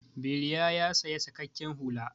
Bilya ya saya saƙaƙƙen hula.